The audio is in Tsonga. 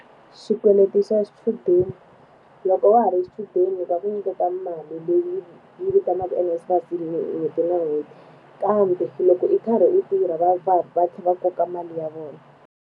Xikweleti xa xichudeni loko wa ha ri xichudeni va nga ku nyiketa mali leyi yi vitaniwaka NSFAS hi n'hweti na n'hweti kambe loko i karhi i tirha va va va tlhela va koka mali ya vona.